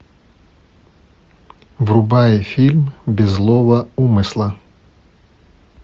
врубай фильм без злого умысла